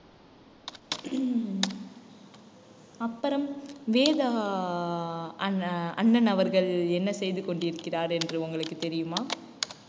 அப்புறம் வேதா அஹ் அண்~ அண்ணன் அவர்கள் என்ன செய்து கொண்டிருக்கிறார் என்று உங்களுக்கு தெரியுமா